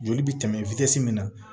Joli bɛ tɛmɛ min na